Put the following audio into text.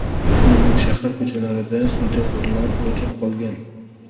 Shuningdek, shahar ko‘chalarida svetoforlar o‘chib qolgan.